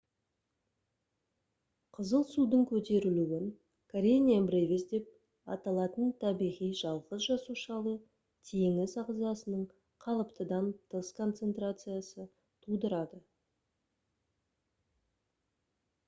қызыл судың көтерілуін karenia brevis деп аталатын табиғи жалғыз жасушалы теңіз ағзасының қалыптыдан тыс концентрациясы тудырады